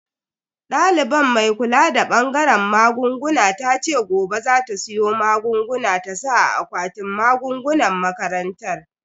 Daliban mai kula da bangaren magunguna tace gobe za ta siyo magunguna ta saka a akwatin magungunan makarantar.